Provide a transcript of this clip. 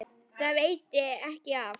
Það veitti ekki af.